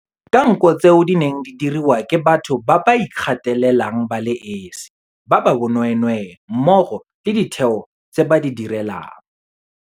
ka nko tseo di neng di diriwa ke batho ba ba ikgathalelang ba le esi, ba ba bonweenwee mmogo le ditheo tseo ba di direlang.